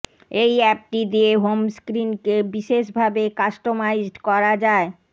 এই অ্যাপটি দিয়ে হোম স্ক্রিনকে বিশেষ ভাবে কাস্টমাইজড করা যায়